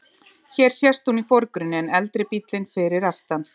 Hér sést hún í forgrunni, en eldri bíllinn fyrir aftan.